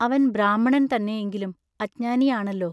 അവൻ ബ്രാഹ്മണൻ തന്നെ എങ്കിലും അജ്ഞാനിയാണല്ലൊ.